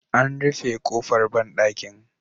An rufe ƙofar banɗakin.